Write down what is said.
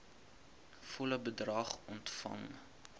volle bedrag ontvang